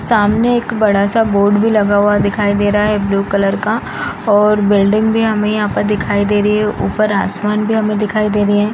सामने एक बड़ा सा बोर्ड भी लगा हुआ दिखाई दे रहा है ब्लू कलर का और बिल्डिंग भी हमें यहाँ पर दिखाई दे रही है ऊपर आसमान भी दिखाई दे रही है |